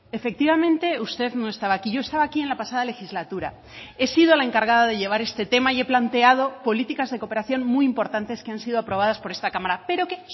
efectivamente usted no estaba aquí yo estaba aquí en la pasada legislatura he sido la encargada de llevar este tema y he planteado políticas de cooperación muy importantes que han sido aprobadas por esta cámara pero que